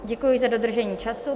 Děkuji za dodržení času.